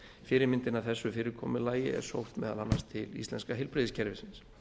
fyrirmyndin að þessu fyrirkomulagi er sótt meðal annars til íslenska heilbrigðiskerfisins